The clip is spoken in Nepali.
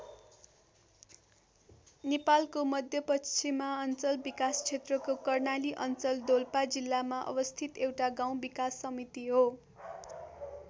नेपालको मध्यपश्चिमाञ्चल विकास क्षेत्रको कर्णाली अञ्चल डोल्पा जिल्लामा अवस्थित एउटा गाउँ विकास समिति हो।